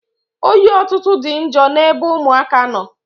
Oyi ọtụtụ dị njọ n'ebe ụmụaka nọ.